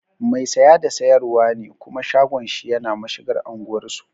Mai saya da sayarwa ne kuma shagon shi yana mashigar anguwar su